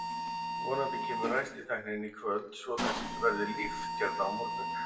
Vonandi kemur ræstitæknirinn í kvöld svo að það verði líft hérna á morgun.